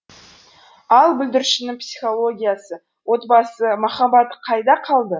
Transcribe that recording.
ал бүлдіршіннің психологиясы отбасы махаббаты қайда қалды